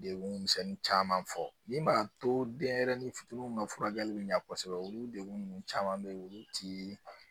Dekun misɛnnin caman fɔ min b'a to denyɛrɛnin fitiinin ka furakɛli bɛ ɲa kosɛbɛ olu dekun caman bɛ yen olu ti